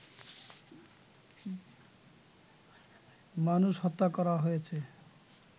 মানুষ হত্যা করা হয়েছে